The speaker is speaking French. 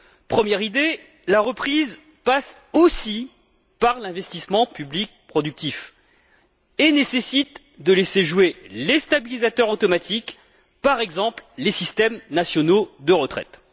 Première idée la reprise passe aussi par l'investissement public productif et nécessite de laisser jouer les stabilisateurs automatiques, par exemple, les systèmes nationaux de retraite.